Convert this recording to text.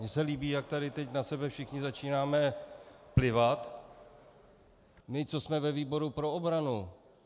Mně se líbí, jak tady teď na sebe všichni začínáme plivat, my, co jsme ve výboru pro obranu.